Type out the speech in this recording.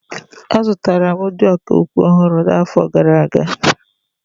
Azụtara m ndị ọkà okwu ọhụrụ n'afọ gara aga.